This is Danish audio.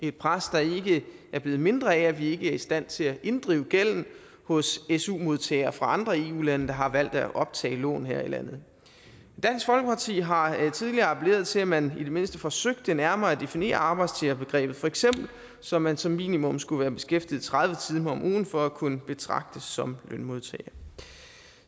et pres der ikke er blevet mindre af at vi ikke er i stand til at inddrive gælden hos su modtagere fra andre eu lande der har valgt at optage lån her i landet dansk folkeparti har tidligere appelleret til at man i det mindste forsøgte nærmere at definere arbejdstagerbegrebet for eksempel så man som minimum skulle være beskæftiget tredive timer om ugen for at kunne betragtes som lønmodtager